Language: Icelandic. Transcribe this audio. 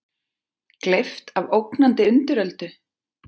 Gleypt af ógnandi undiröldu?